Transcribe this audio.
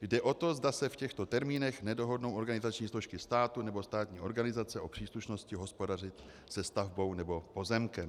Jde o to, zda se v těchto termínech nedohodnou organizační složky státu nebo státní organizace o příslušnosti hospodařit se stavbou nebo pozemkem.